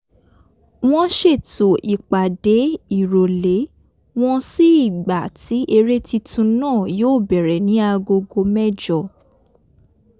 wọ́n ṣètò ipàdé ìròlé wọn sí ìgbà tí eré titun náà yóò bẹ̀rẹ ní agogo mẹ́jọ